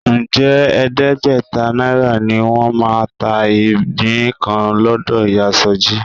Ǹjẹ́ ẹ̀ẹ́dẹ́gbẹ̀ta náírà ni wọ́n máa ta igbin kan lọ́dọ̀ ìyá Sọjí?